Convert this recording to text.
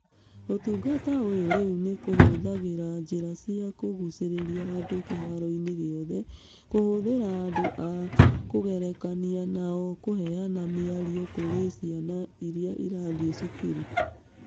Ũtungata ũyũ rĩu nĩ ũhũthagĩra njĩra cia kũgucĩrĩria andũ kĩharoinĩ gĩothe, kũhũthĩra andũ a kwĩgerekania nao kũheana mĩario kũrĩ ciana iria irathiĩ cukuru.